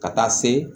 Ka taa se